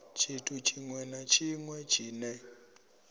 tshithu tshiṅwe na tshiṅwe tshine